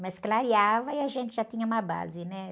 Mas clareava e a gente já tinha uma base, né?